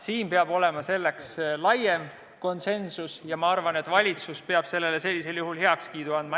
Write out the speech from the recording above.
Siin peab olema laiem konsensus ja ma arvan, et valitsus peab sellisel juhul heakskiidu andma.